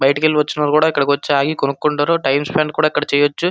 బయటికి వెళ్లి వచ్చిన వాళ్ళు కూడా ఇక్కడకి వచ్చి ఆగి కొన్నుకుంటారు టైం స్పెండ్ కూడా ఇక్కడ చేయొచ్చు.